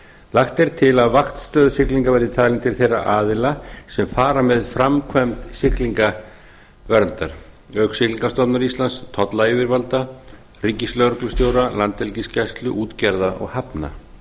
lagt er til að vaktstöð siglinga verði talin til þeirra aðila sem fara með framkvæmd siglingaverndar auk siglingamálastofnunar íslands tollyfirvalda ríkislögreglustjóra landhelgisgæslu útgerða og hafna